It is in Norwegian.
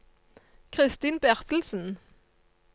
Kristin Bertelsen